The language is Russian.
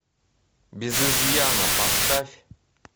без изъяна поставь